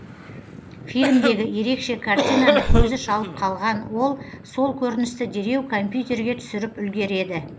фильмдегі ерекше картинаны көзі шалып қалған ол сол көріністі дереу компьютерге түсіріп үлгереді